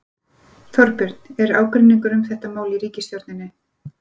Þorbjörn: Er ágreiningur um þetta mál í ríkisstjórninni?